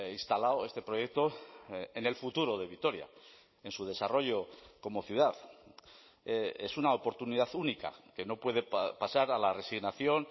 instalado este proyecto en el futuro de vitoria en su desarrollo como ciudad es una oportunidad única que no puede pasar a la resignación